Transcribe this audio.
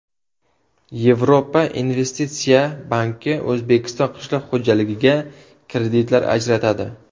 Yevropa investitsiya banki O‘zbekiston qishloq xo‘jaligiga kreditlar ajratadi.